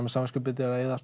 með samviskubit yfir að eyða